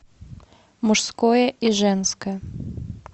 мужское и женское